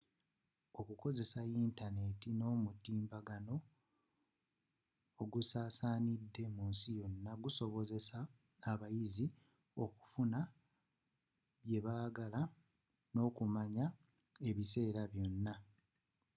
okukozesa yintaneeti n'omutimbagano ogusaasaanidde munsi yonna gusobozesa abayizi okufuna bye baagala okumanya ekiseera kyonna